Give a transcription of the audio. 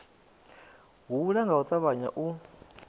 hula nga u ṱavhanya u